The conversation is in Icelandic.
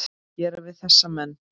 gera við þessa menn?